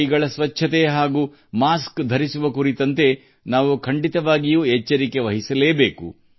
ಕೈ ಸ್ವಚ್ಛತೆ ಮತ್ತು ಮುಖಗವಸುಗಳಂತಹ ಅಗತ್ಯ ಮುನ್ನೆಚ್ಚರಿಕೆಗಳನ್ನು ನಾವು ತೆಗೆದುಕೊಳ್ಳಬೇಕು